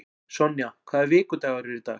Sonja, hvaða vikudagur er í dag?